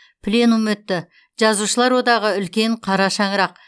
пленум өтті жазушылар одағы үлкен қара шаңырақ